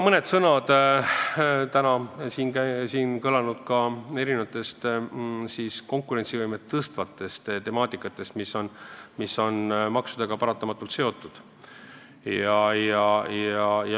Mõni sõna ka täna siin kõlanud konkurentsivõime tõstmise teemal, mis on paratamatult samuti maksudega seotud.